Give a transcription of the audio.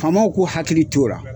Faamaw k'u hakili to o ra.